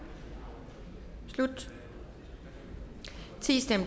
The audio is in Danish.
slut